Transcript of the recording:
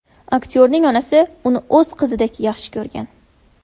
Aktyorning onasi uni o‘z qizidek yaxshi ko‘rgan.